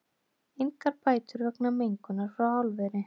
Engar bætur vegna mengunar frá álveri